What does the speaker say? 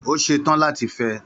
Ó ṣe tán láti fẹ́ ẹ.